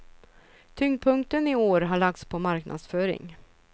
Tyngdpunkten i år har lagts på marknadsföring.